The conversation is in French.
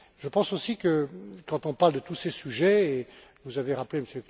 Je pense aussi que quand on parle de tous ces sujets vous avez rappelé